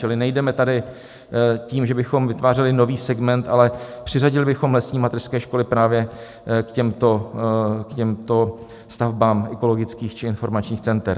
Čili nejdeme tady tím, že bychom vytvářeli nový segment, ale přiřadili bychom lesní mateřské školy právě k těmto stavbám ekologických či informačních center.